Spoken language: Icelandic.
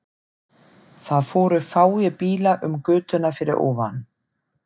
Það fóru fáir bílar um götuna fyrir ofan.